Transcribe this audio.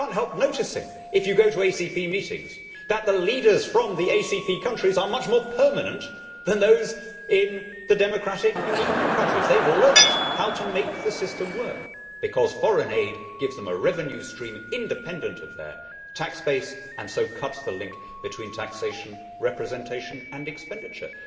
You cannot help noticing, if you go to ACP meetings, that the leaders from the ACP countries are much more permanent than those in the democratic EU countries. They have learnt how to make the system work, because foreign aid gives them a revenue stream independent of their tax base and so cuts the link between taxation, representation and expenditure.